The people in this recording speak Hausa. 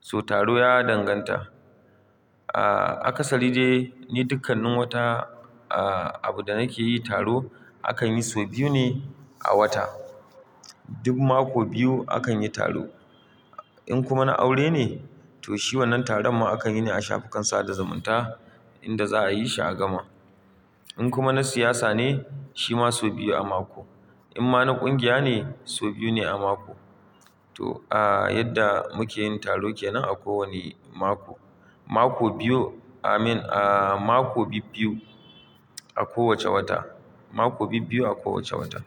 So taro ya danganta. Ah, akasari dai ni dukkanin wata, ah, abu da nake yi taro akan yi sau biyu ne a wata. Duk mako biyu akan yi taro. In kuma na aure ne to shi wannan taron ma akan yi ne a shafukan sa da zumunta inda za'a yi shi a gama. In kuma na siyasa ne shi ma sau biyu a mako. In ma na ƙungiya ne sau biyu ne a mako. To, ah, yadda muke yin taro ke nan a kowanne mako. Mako biyu, amen, ah, mako bibbiyu a kowace wata, mako bibbiyu a kowace wata.